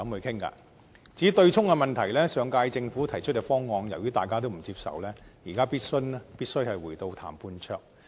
至於強積金對沖機制的問題，由於大家都不接受上屆政府提出的方案，現在必須回到談判桌。